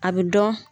A bɛ dɔn